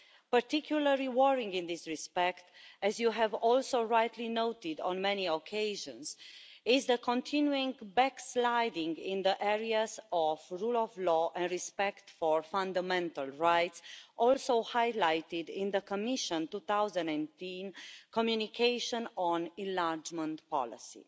Particularly worrying in this respect, as you have also rightly noted on many occasions, is the continuing backsliding in the areas of rule of law and respect for fundamental rights, also highlighted in the Commissionʼs 2018 communication on enlargement policy.